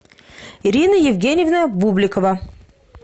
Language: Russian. ирина евгеньевна бубликова